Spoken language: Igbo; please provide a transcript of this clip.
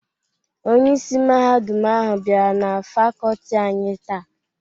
Onyeisi Mahadum ahụ bịara na Fakọlti anyị táá.